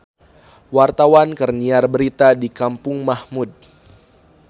Wartawan keur nyiar berita di Kampung Mahmud